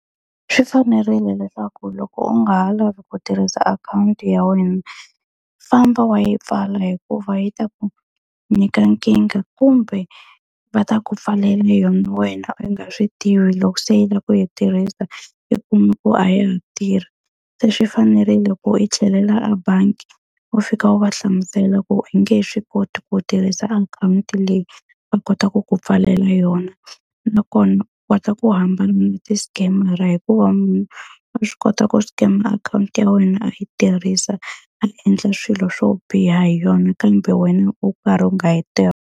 Swi fanerile leswaku loko u nga ha lavi ku tirhisa akhawunti ya wena, famba wa yi pfala hikuva yi ta ku nyika nkingha kumbe va ta ku pfalela yona wena u nga swi tivi. Loko se u lava ku yi tirhisa i kuma ku a ya ha tirhi. Se swi fanerile ku i tlhelela ebangi, u fika u va hlamusela ku i nge he swi koti ku tirhisa akhawunti leyi va kotaka ku pfalela yona. Nakona u kota ku hambana na ti-scam-ara hikuva munhu a swi kota ku scammer akhawunti ya wena a yi tirhisa, a endla swilo swo biha hi yona kambe wena u karhi u nga yi .